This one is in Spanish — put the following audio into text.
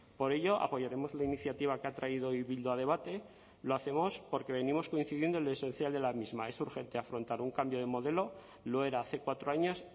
por ello apoyaremos la iniciativa que ha traído hoy bildu a debate lo hacemos porque venimos coincidiendo en lo esencial de la misma es urgente afrontar un cambio de modelo lo era hace cuatro años